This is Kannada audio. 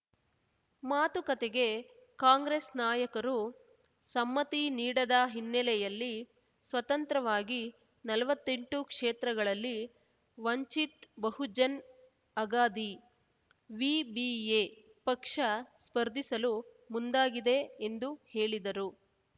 ಮಾತುಕತೆಗೆ ಕಾಂಗ್ರೆಸ್ ನಾಯಕರು ಸಮ್ಮತಿ ನೀಡದ ಹಿನ್ನೆಲೆಯಲ್ಲಿ ಸ್ವತಂತ್ರವಾಗಿ ನಲ್ವತ್ತೆಂಟು ಕ್ಷೇತ್ರಗಳಲ್ಲಿ ವಂಚಿತ್ ಬಹುಜನ್ ಅಗಾದಿ ವಿಬಿಎ ಪಕ್ಷ ಸ್ಪರ್ಧಿಸಲು ಮುಂದಾಗಿದೆ ಎಂದು ಹೇಳಿದರು